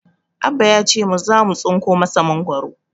Abba ya ce mu zamu tsinko masa goro